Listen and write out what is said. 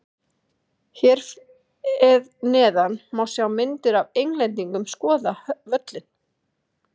Hér eð neðan má sjá myndir af Englendingum skoða völlinn.